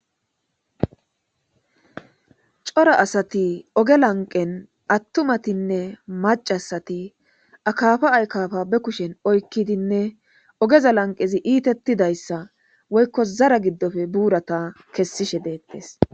coro asati oge lanqen attumatinne macasati akafa aykafa be kushen oykkidinne ogeza lanqezi iitettidayssa woykko zara giddofe buurata kessishe deettes